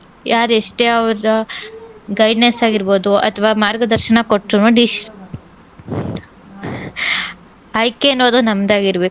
ಯಾರ್ ಎಷ್ಟೇ ಅವ್ರ guideness ಆಗಿರ್ಬೋದು ಅಥ್ವಾ ಮಾರ್ಗದರ್ಶನ ಕೊಟ್ರುನೂ deci~ ಆಯ್ಕೆ ಅನ್ನೋದು ನಮ್ದ್ ಆಗಿರ್ಬೇಕು.